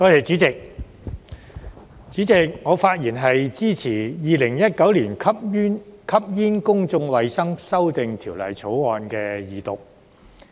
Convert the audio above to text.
主席，我發言支持《2019年吸煙條例草案》的二讀。